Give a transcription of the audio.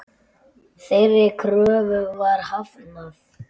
Þeirri kröfu var hafnað.